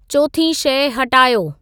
चोथीं शइ हटायो